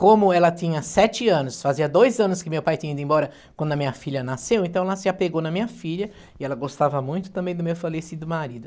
Como ela tinha sete anos, fazia dois anos que meu pai tinha ido embora, quando a minha filha nasceu, então ela se apegou na minha filha, e ela gostava muito também do meu falecido marido.